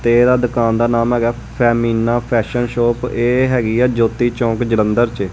ਤੇ ਇਹਦਾ ਦੁਕਾਨ ਦਾ ਨਾਮ ਹੈਗਾ ਹੈ ਫੈਮਿਨਾ ਫੈਸ਼ਨ ਸ਼ੌਪ । ਇਹ ਹੈਗੀ ਹੈ ਜਯੋਤੀ ਚੌਂਕ ਜਲੰਧਰ ਚ।